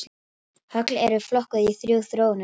Högl eru flokkuð í þrjú þróunarstig.